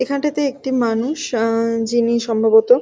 এখানটাতে একটি মানুষ উমম যে সম্ভবত।